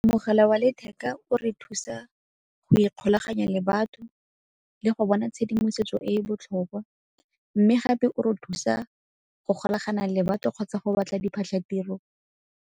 Mogala wa letheka o re thusa go ikgolaganya le batho le go bona tshedimosetso e e botlhokwa mme gape o re thusa go golagana le batho kgotsa go batla diphatlhatiro.